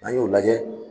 N'an y'o lajɛ